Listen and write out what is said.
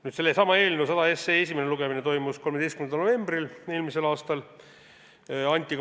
Nüüd, sellesama eelnõu 100 esimene lugemine toimus eelmise aasta 13. novembril.